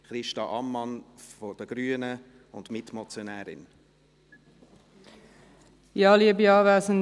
Christa Ammann von der grünen Fraktion ist auch Mitmotionärin.